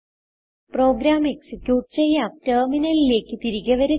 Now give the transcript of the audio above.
programme execute ചെയ്യാം ടെർമിനലിലേക്ക് തിരികെ വരുക